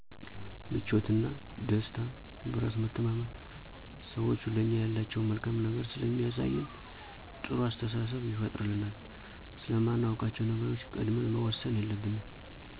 ምቾትና፣ ደስታ፣ በራስ መተማመን፣ ሰዎቹ ለኛ ያላቸውን መልካም ነገር ስለሚያሳየን ጥሩ አስተሳሰብ ይፈጥሩልናል፤ ስለማናውቃቸዉ ነገሮች ቀድመን መወሰን የለብንም